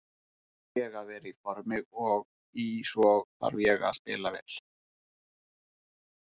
Fyrst þarf ég að vera í formi og í svo þarf ég að spila vel.